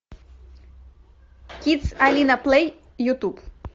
кидс алина плей ютуб